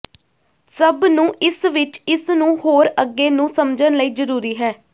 ਸਭ ਨੂੰ ਇਸ ਵਿਚ ਇਸ ਨੂੰ ਹੋਰ ਅੱਗੇ ਨੂੰ ਸਮਝਣ ਲਈ ਜ਼ਰੂਰੀ ਹੈ